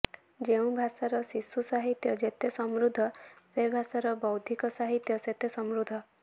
ଯେଉଁ ଭାଷାର ଶିଶୁ ସାହିତ୍ୟ ଯେତେ ସମୃଦ୍ଧ ସେ ଭାଷାର ବୌଦ୍ଧିକ ସାହିତ୍ୟ ସେତେ ସମୃଦ୍ଧ